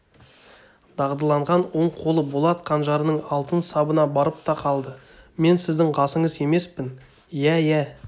дағдыланған оң қолы болат қанжарының алтын сабына барып та қалды мен сіздің қасыңыз емеспін иә иә